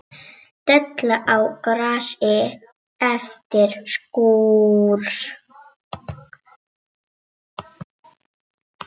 Della á grasi eftir skúr.